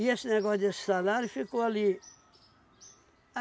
esse negócio desse salário ficou ali.